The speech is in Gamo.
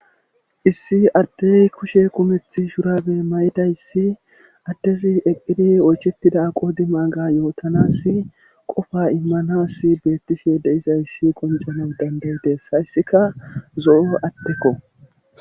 issi addey kushe kumethi shurabe may7idayssi addezi eqqidi oychettida aqoodi maaga yootanas qofa immanas beettishe de izayssi qoncana dandayidees hayssika zo7o adekko